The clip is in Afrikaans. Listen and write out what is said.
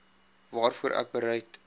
waarvoor ek bereid